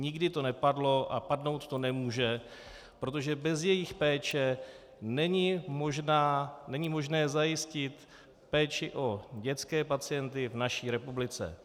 Nikdy to nepadlo a padnout to nemůže, protože bez jejich péče není možné zajistit péči o dětské pacienty v naší republice.